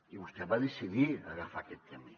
i vostè va decidir agafar aquest camí